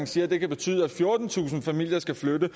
siger at det kan betyde at fjortentusind familier skal flytte